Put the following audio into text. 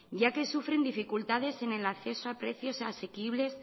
ya que sufren dificultades en el acceso a precios asequibles